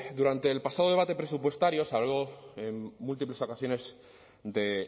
durante el pasado debate presupuestario se habló en múltiples ocasiones de